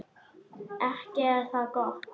Ekki er það gott!